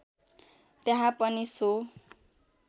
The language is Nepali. त्यहाँ पनि सो